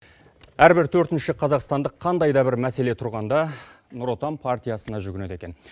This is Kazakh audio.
әрбір төртінші қазақтандық қандай да бір мәселе тұрғанда нұр отан партиясына жүгінеді екен